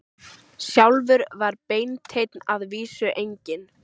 Sjálfur var Beinteinn að vísu enginn